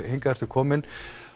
hingað ertu kominn